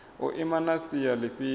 u ima na sia lifhio